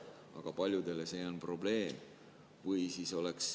Aga paljudele on see probleem.